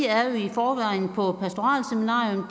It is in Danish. forvejen været på pastoralseminarium